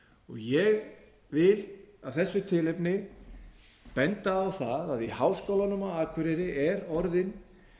ég vil af þessu tilefni benda á það að í háskólanum á akureyri er orðin